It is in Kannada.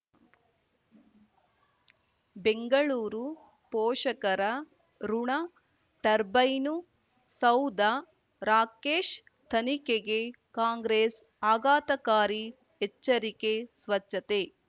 ಬೆಂಗಳೂರು ಪೋಷಕರಋಣ ಟರ್ಬೈನು ಸೌಧ ರಾಕೇಶ್ ತನಿಖೆಗೆ ಕಾಂಗ್ರೆಸ್ ಆಘಾತಕಾರಿ ಎಚ್ಚರಿಕೆ ಸ್ವಚ್ಛತೆ